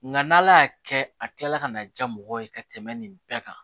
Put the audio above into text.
Nga n'ala y'a kɛ a kilala ka na diya mɔgɔw ye ka tɛmɛ nin bɛɛ kan